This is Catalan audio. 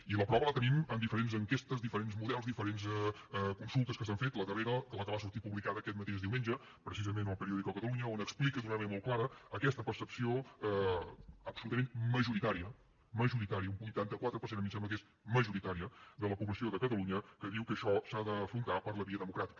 i la prova la tenim en diferents enquestes diferents models diferents consultes que s’han fet la darrera la que va sortir publicada aquest mateix diumenge precisament a el periódico de catalunya que explica d’una manera molt clara aquesta percepció absolutament majoritària majoritària un vuitanta quatre per cent a mi em sembla que és majoritària de la població de catalunya que diu que això s’ha d’afrontar per la via democràtica